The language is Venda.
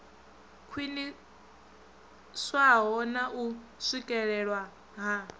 khwiniswaho na u swikelelwa ha